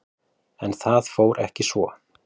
En það fór ekki svo.